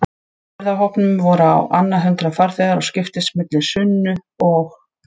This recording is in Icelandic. ferðahópnum voru á annað hundrað farþegar og skiptust milli Sunnu og